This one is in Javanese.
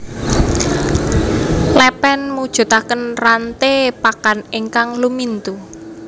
Lèpèn mujudaken ranté pakan ingkang lumintu